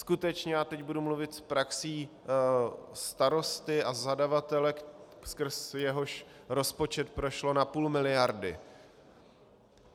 Skutečně, a teď budu mluvit s praxí starosty a zadavatele, skrz jehož rozpočet prošlo na půl miliardy.